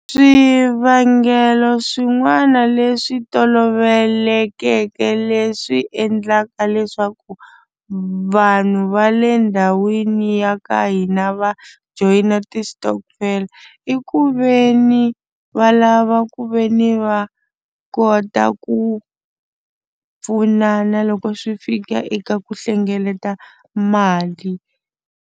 Swivangelo swin'wana leswi tolovelekeke leswi endlaka leswaku vanhu va le ndhawini ya ka hina va joyina ti-stockvel i ku ve ni va lava ku ve ni va kota ku pfunana loko swi fika eka ku hlengeleta mali.